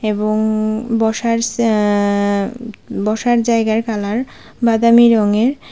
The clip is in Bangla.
এবং বসার সে অ্যা বসার জায়গার কালার বাদামী রঙের।